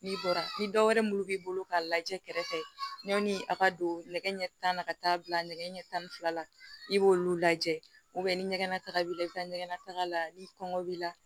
N'i bɔra ni dɔwɛrɛ minnu b'i bolo k'a lajɛ kɛrɛfɛ yanni a ka don nɛgɛ ɲɛ tan na ka taa bila nɛgɛ ɲɛ tan ni fila la i b'olu lajɛ ni ɲɛgɛn nataga b'i la i bɛ taa ɲɛgɛnna taga la ni kɔngɔ b'i la